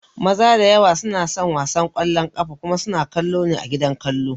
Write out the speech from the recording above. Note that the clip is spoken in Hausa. Maza da yawa suna son wasan ƙwallon ƙafa kuma suna kallo ne a gidan kallo